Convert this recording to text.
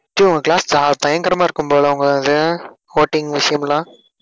டேய் உங்க class ப~ பயங்கரமா இருக்கும் போல உங்களோடது voting விசயம் எல்லாம்.